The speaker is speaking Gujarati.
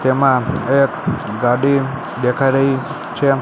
તેમા એક ગાડી દેખાય રહી છે.